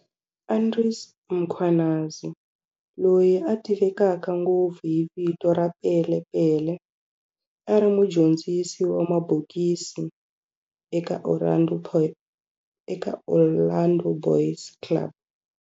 Andries Mkhwanazi, loyi a tiveka ngopfu hi vito ra Pele Pele, a ri mudyondzisi wa mabokisi eka Orlando Boys Club.